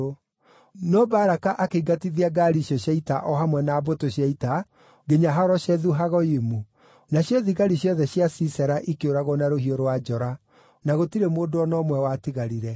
No Baraka akĩingatithia ngaari icio cia ita o hamwe na mbũtũ cia ita nginya Haroshethu-Hagoyimu. Nacio thigari ciothe cia Sisera ikĩũragwo na rũhiũ rwa njora; na gũtirĩ mũndũ o na ũmwe watigarire.